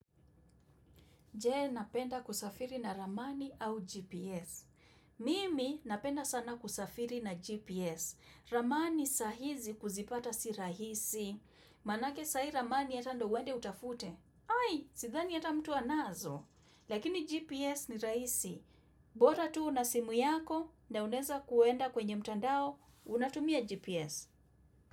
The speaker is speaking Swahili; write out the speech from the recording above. Je, napenda kusafiri na ramani au GPS? Mimi napenda sana kusafiri na GPS. Ramani saa hizi kuzipata si rahisi. Maanake saa hii ramani hata ndo uende utafute. Ai!! Sidhani hata mtu anazo. Lakini GPS ni rahisi. Bora tuu una simu yako na unaeza kuenda kwenye mtandao, unatumia GPS.